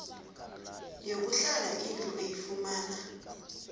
yokuhlala indlu oyifumana